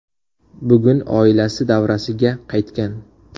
Bugun oilasi davrasiga qaytgan.